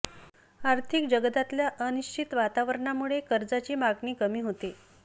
आर्थिक जगतातल्या अनिश्चित वातावरणामुळे कर्जाची मागणी कमी होते